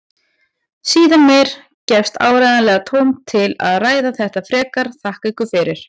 Síðar meir gefst áreiðanlega tóm til að ræða þetta frekar, þakka ykkur fyrir.